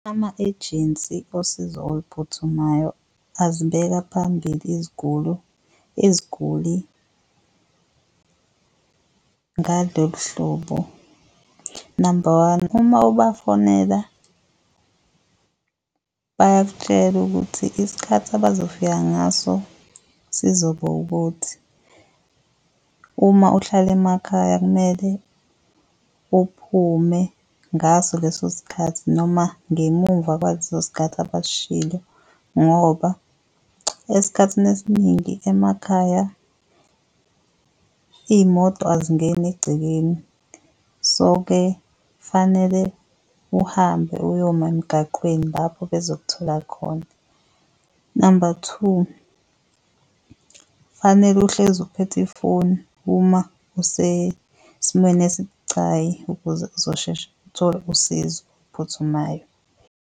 Ama-ejensi osizo oluphuthumayo azibeka phambili iziguli, iziguli ngalolu hlobo, namba one, uma ubafonela bayakutshela ukuthi isikhathi abazofika ngaso sizoba ukuthi, uma uhlale emakhaya kumele uphume ngaso leso sikhathi noma ngemumva kwaleso sikhathi abasishilo. Ngoba esikhathini esiningi emakhaya iyimoto azingeni egcekeni, so-ke fanele uhambe uyoma emgaqweni lapho bezokuthola. Namba two, fanele uhlezi uphethe ifoni uma usesimweni esibucayi ukuze uzosheshe uthole usizo phuthumayo.